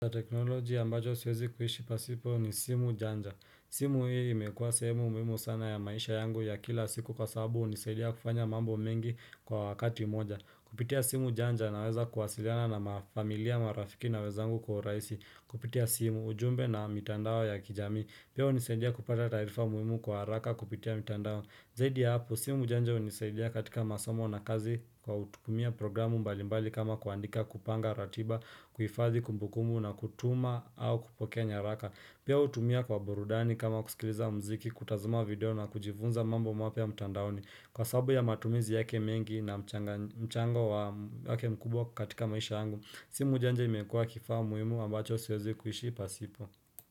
Teknoloji ya mbajo siwezi kuhishi pasipo ni simu janja simu hii imekuwa semu muhimu sana ya maisha yangu ya kila siku kwa sababu unisaidia kufanya mambo mengi kwa wakati moja Kupitia simu janja naweza kwasiliana na mafamilia marafiki na wezangu kwa raisi Kupitia simu ujumbe na mitandao ya kijami. Pio unisaidia kupata tarifa muhimu kwa haraka kupitia mitandao Zaidi ya hapo simu janja unisaidia katika masomo na kazi Kwa utumia programu mbalimbali kama kuandika kupanga ratiba. Kuhifadhi kumbukumu na kutuma au kupokea nyaraka Pia utumia kwa burudani kama kusikiliza mziki kutazama video na kujifunza mambo mapya ya mtandaoni Kwa sabu ya matumizi yake mengi na. Mchango wake mkubwa katika maisha angu simu janje imekua kifaa muimu ambacho siozi kuishi pasipo.